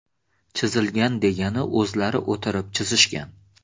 Chizilgan degani o‘zlari o‘tirib chizishgan.